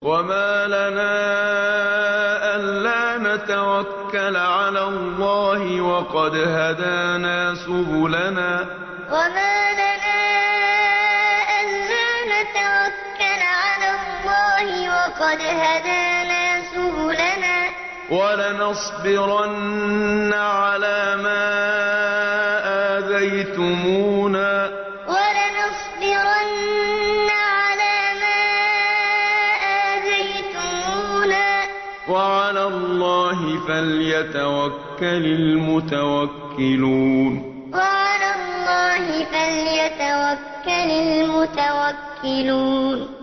وَمَا لَنَا أَلَّا نَتَوَكَّلَ عَلَى اللَّهِ وَقَدْ هَدَانَا سُبُلَنَا ۚ وَلَنَصْبِرَنَّ عَلَىٰ مَا آذَيْتُمُونَا ۚ وَعَلَى اللَّهِ فَلْيَتَوَكَّلِ الْمُتَوَكِّلُونَ وَمَا لَنَا أَلَّا نَتَوَكَّلَ عَلَى اللَّهِ وَقَدْ هَدَانَا سُبُلَنَا ۚ وَلَنَصْبِرَنَّ عَلَىٰ مَا آذَيْتُمُونَا ۚ وَعَلَى اللَّهِ فَلْيَتَوَكَّلِ الْمُتَوَكِّلُونَ